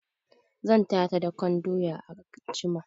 Zan taya ta dakan doya anjiya.